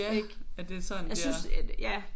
Ja at det sådan det er